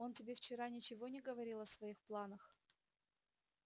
он тебе вчера ничего не говорил о своих планах